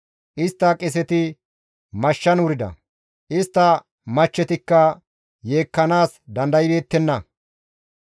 Istta qeeseti mashshan wurida; istta machchetikka yeekkanaas dandaybeettenna.